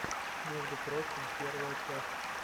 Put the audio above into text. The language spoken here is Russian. между прочим первая часть